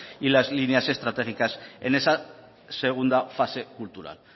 y las líneas estratégicas en esa segunda fase cultural